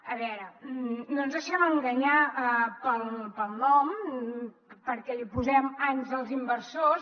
a veure no ens deixem enganyar pel nom perquè li posem àngels inversors